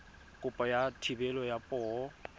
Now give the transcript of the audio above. kopo ya thebolo ya poo